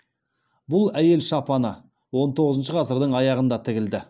бұл әйел шапаны он тоғызыншы ғасырдың аяғында тігілді